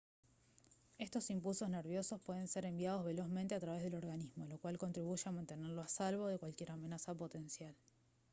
estos impulsos nerviosos pueden ser enviados velozmente a través del organismo lo cual contribuye a mantenerlo a salvo de cualquier amenaza potencial